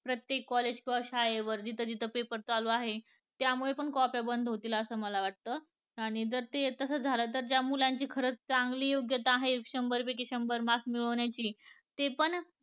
प्रत्येक college वर शाळेवर जिथं जिथं paper चालू आहेत. त्यामुळे पण कॉप्या बंद होतील असं मला वाटत आणि जर तास झाला तर मुलांची चांगली योग्यता आहे शंभर पैकी शंभर mark मिळवण्याची ते पण